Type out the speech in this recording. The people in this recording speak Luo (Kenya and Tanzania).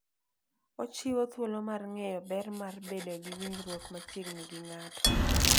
Ochiwo thuolo mar ng'eyo ber mar bedo gi winjruok machiegni gi ng'ato.